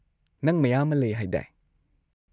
ꯅꯪ ꯃꯌꯥꯝ ꯑꯃ ꯂꯩ ꯍꯥꯏꯗꯥꯏ?